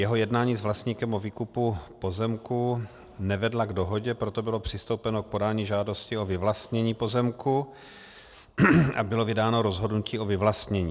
Jeho jednání s vlastníkem o výkupu pozemku nevedla k dohodě, proto bylo přistoupeno k podání žádosti o vyvlastnění pozemku a bylo vydáno rozhodnutí o vyvlastnění.